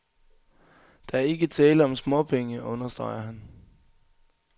Der er ikke tale om småpenge, understreger han.